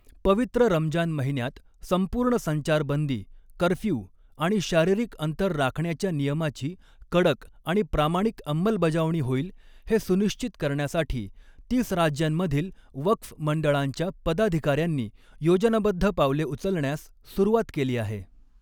पवित्र रमजान महिन्यात संपूर्ण संचारबंदी, कर्फ्यू आणि शारीरिक अंतर राखण्याच्या नियमाची कडक आणि प्रामाणिक अंमलबजावणी होईल हे सुनिश्चित करण्यासाठी तीस राज्यांमधील वक़्फ़ मंडळांच्या पदाधिकाऱ्यांनी योजनाबद्ध पावले उचलण्यास सुरुवात केली आहे.